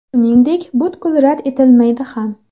Shuningdek, butkul rad etilmaydi ham.